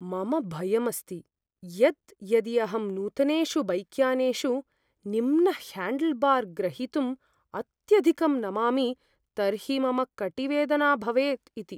मम भयम् अस्ति यत् यदि अहं नूतनेषु बैक्यानेषु निम्नह्याण्डल्बार् ग्रहीतुम् अत्यधिकं नमामि तर्हि मम कटीवेदना भवेत् इति।